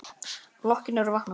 Blokkin er að vakna.